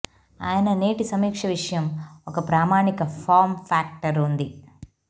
ఆయన నేటి సమీక్ష విషయం ఒక ప్రామాణిక ఫార్మ్ ఫ్యాక్టర్ ఉంది